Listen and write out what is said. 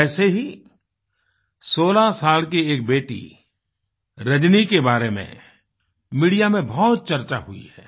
वैसे ही 16 साल की एक बेटी रजनी के बारे में मीडिया में बहुत चर्चा हुई है